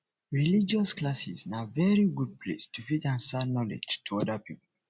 religious classes na very good place to fit transfer knowledge to oda pipo